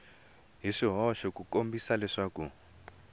hi swihoxo ku kombisa leswaku